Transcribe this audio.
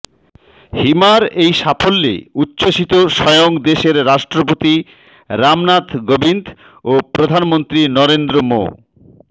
হিমার এই সাফল্য়ে উচ্ছ্বসিত স্বয়ং দেশের রাষ্ট্রপতি রামনাথ কোভিন্দ ও প্রধানমন্ত্রী নরেন্দ্র মো